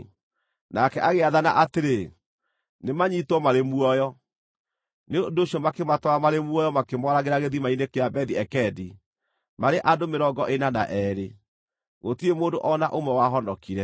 Nake agĩathana atĩrĩ, “Nĩmanyiitwo marĩ muoyo!” Nĩ ũndũ ũcio makĩmatwara marĩ muoyo makĩmooragĩra gĩthima-inĩ kĩa Bethi-Ekedi, maarĩ andũ mĩrongo ĩna na eerĩ. Gũtirĩ mũndũ o na ũmwe wahonokire.